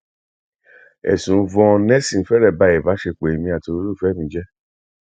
ẹsùn yvonne nelson fẹrẹ ba ìbásepọ èmi àti olólùfẹ mi jẹ